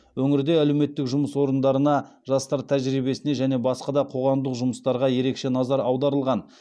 өңірде әлеуметтік жұмыс орындарына жастар тәжірибесіне және басқа да қоғамдық жұмыстарға ерекше назар аударылған